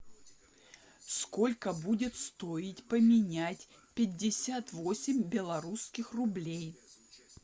сколько будет стоить поменять пятьдесят восемь белорусских рублей